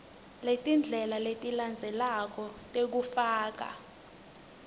letindlela letilandzelako tekufaka